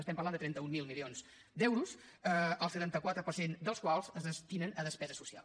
estem parlant de trenta mil milions d’euros el setanta quatre per cent dels quals es destinen a despesa social